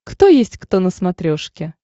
кто есть кто на смотрешке